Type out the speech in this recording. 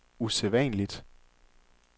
usædvanligt